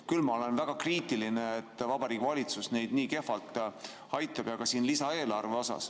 Küll ma olen väga kriitiline, et Vabariigi Valitsus neid nii kehvalt aitab, ka lisaeelarvega.